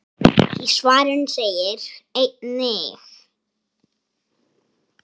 Í svarinu segir einnig